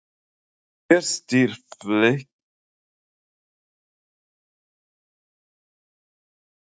Hver stýrir Fylki af bekknum í fyrsta leik, verður það Garðar?